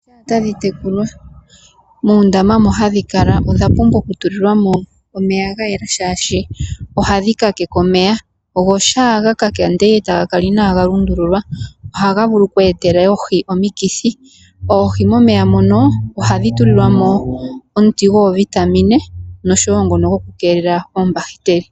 OIohi tadhi tekulwa, muundama moka hadhi kala, odha pumbwa oku tulilwamo omeya ga yela shashi ohadhi ka keke omeya, go omeya shampa ga kaka, eta ga kala inaga lundululwa, ohaga vulu oku etela oohi omikithi. Oohi momeya moka ohadhi tulilwamo omuti goovitamina osho wo ngoka goku keelela oombahiteli.